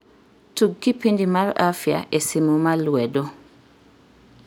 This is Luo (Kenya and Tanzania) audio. tug kipindi mar afya e simu ma lwedo